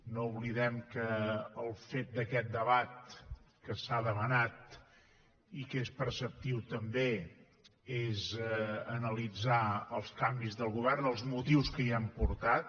no oblidem que el fet d’aquest debat que s’ha demanat i que és preceptiu també és analitzar els canvis del govern els motius que hi han portat